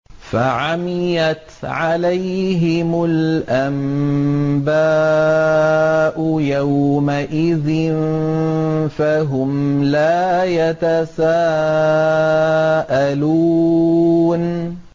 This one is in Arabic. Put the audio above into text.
فَعَمِيَتْ عَلَيْهِمُ الْأَنبَاءُ يَوْمَئِذٍ فَهُمْ لَا يَتَسَاءَلُونَ